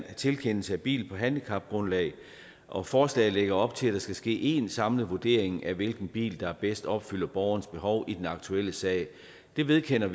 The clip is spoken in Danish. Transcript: tilkendelse af bil på handicapgrundlag og at forslaget lægger op til at der skal ske én samlet vurdering af hvilken bil der bedst opfylder borgerens behov i den aktuelle sag vi vedkender